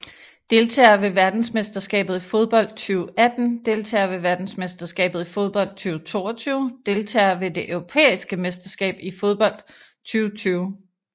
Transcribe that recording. Deltagere ved verdensmesterskabet i fodbold 2018 Deltagere ved verdensmesterskabet i fodbold 2022 Deltagere ved det europæiske mesterskab i fodbold 2020